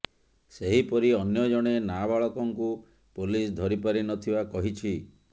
ସେହିପରି ଅନ୍ୟ ଜଣେ ନାବାଳକଙ୍କୁ ପୋଲିସ ଧରିପାରି ନ ଥିବା କହିଛି